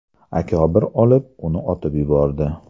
Akobir olib, uni otib yubordi.